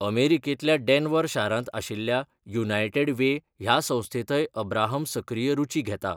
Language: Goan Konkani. अमेरिकेंतल्या डेन्व्हर शारांत आशिल्ल्या युनायटेड वे ह्या संस्थेंतय अब्राहम सक्रीय रूची घेता.